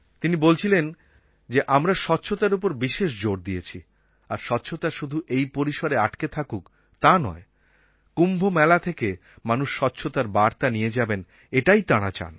তিনি বলছিলেন যে আমরা স্বচ্ছতার ওপর বিশেষ জোর দিয়েছি আর স্বচ্ছতা শুধু এই পরিসরে আটকে থাকুক তা নয় কুম্ভমেলা থেকে মানুষ স্বচ্ছতার বার্তা নিয়ে যাবেন এটাই তাঁরা চান